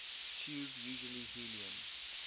tube usually helium